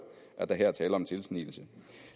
at der her er tale om en tilsnigelse